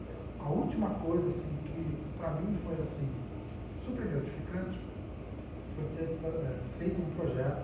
a a última coisa assim que para mim foi assim super gratificante foi ter pa eh feito um projeto